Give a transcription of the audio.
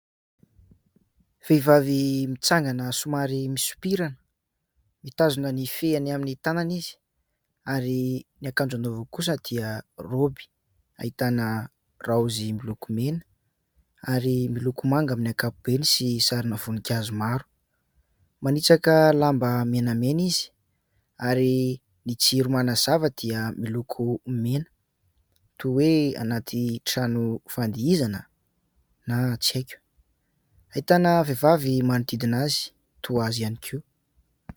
Vehivavy mitsangana somary misompirana. Mitazona ny fehiny amin'ny tanana izy ary ny akanjo anaovany kosa dia raoby. Ahitana raozy miloko mena ary miloko manga amin'ny ankapobeny sy sarina voninkazo maro. Manitsaka lamba menamena izy ary ny jiro manazava dia miloko mena toa hoe anaty trano fandihizana na tsy haiko ? Ahitana vehivavy manodidina azy toa azy ihany koa.